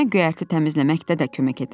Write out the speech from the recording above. Nənəmə göyərti təmizləməkdə də kömək edirəm.